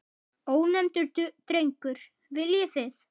Ónefndur drengur: Viljið þið?